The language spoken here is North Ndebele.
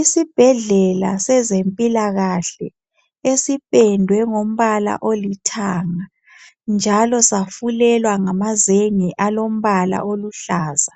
Isbhedlela sezempilakahle esipendwe ngombala olithanga, njalo safulelwa ngamazenge alombala oluhlaza,